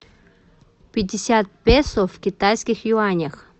пятьдесят песо в китайских юанях